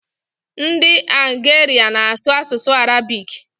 Ndị Algeria na-asụ asụsụ Arabic.